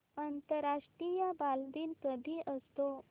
आंतरराष्ट्रीय बालदिन कधी असतो